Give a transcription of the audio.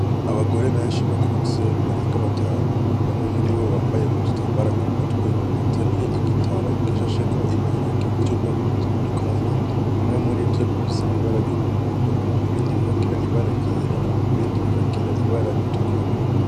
Abagore benshi bakuze barenga batanu bamwe muribo bambaye udutambara kumutwe bateruye igitaro gishasheko ibiharage vy' ubwoko butandukanye bimwe muri vyo bifise ibara y' umuhondo ibindi bikagira ibara ryera ibindi bikagira bikagira ibara ritukura